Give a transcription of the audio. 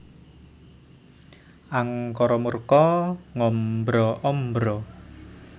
Angkara murka ngombro ombro